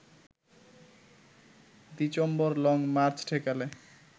December long march ঠেকাল